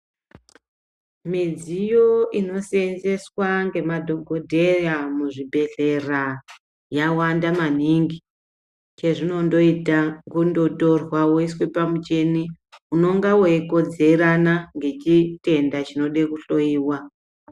Midziyo inoseenzeswa ngemadhokodheya muzvibhehlera yawanda maningi, chezvinondoita ngechekuti unotorwa woiswe pamu michini unenge weikodzerana nechitenda chinoda kuhloyiwa.